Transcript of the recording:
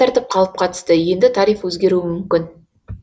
тәртіп қалыпқа түсті енді тариф өзгеруі мүмкін